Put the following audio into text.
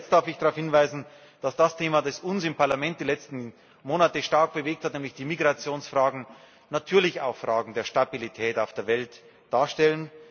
Zu guter Letzt darf ich darauf hinweisen, dass das Thema, das uns im Parlament die letzten Monate stark bewegt hat, nämlich die Migrationsfragen, natürlich auch eine Frage der Stabilität auf der Welt darstellt.